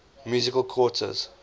musical quartets